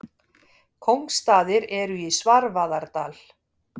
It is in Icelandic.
Kóngsstaðir eru í Svarfaðardal.